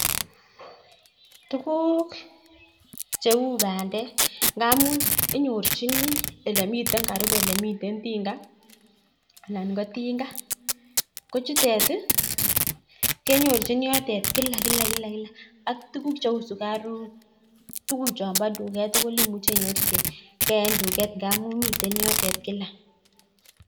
Tukuk cheu bandek, ngamun inyorchini elemitei karibu elemitei tinga. Yun bo tinga. Ko chutet kenyorchin yotet kila kila kila ak tuguk cheu sukaruk tukuk chon bo tuket tugul imuche inyorchigei eng tukek ngamun mitei yotet kila.